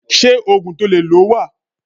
Ṣé Ógùn tó lè lọ wà?.